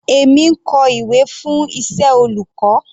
Èmi ń kọ ìwé fún iṣẹ́ olùkọ́.